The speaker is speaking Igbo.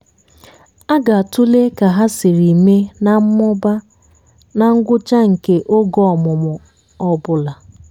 a ga-atụle ka hà siri mee na mmụba na ngwụcha nke oge ọmụmụ ọ bụla.